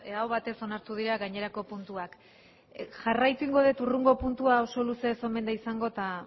aho batez onartu dira gainerako puntuak jarraituko egingo det hurrengo puntua oso luze ez omen da izango eta